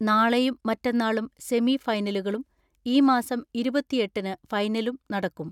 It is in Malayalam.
നാളെയും മറ്റന്നാളും സെമി ഫൈനലുകളും ഈ മാസം ഇരുപത്തിഎട്ടിന് ഫൈനലും നടക്കും.